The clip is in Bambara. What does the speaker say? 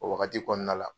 O wagati kɔnɔna la